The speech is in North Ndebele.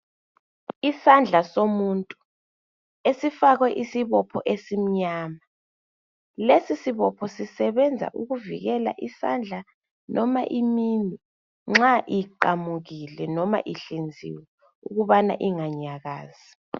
Isandla somuntu esifakwe isibopho esimnyama .Lesi sibopho sisebenza ukuvikela isandla noma iminwe nxa iqamukile noma ihlinziwe ukubana inganyakazi.